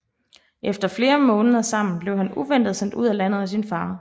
Efter flere måneder sammen blev han uventet sendt ud af landet af sin far